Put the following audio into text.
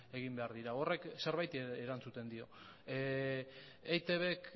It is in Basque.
egin behar dira horrek zerbaiti erantzuten dio eitbk